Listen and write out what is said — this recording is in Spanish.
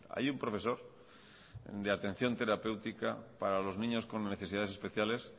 hay un profesor de atención terapéutica para los niños con necesidades especiales